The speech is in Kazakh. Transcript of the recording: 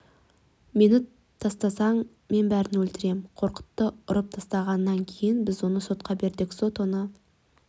мені тастасаң мен бәрін өлтірем қорқытты ұрып тастағаннан кейін біз оны сотқа бердік сот оны